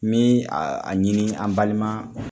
Min a ɲini an balima